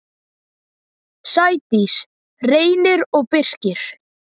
Sædís, Reynir og Birkir.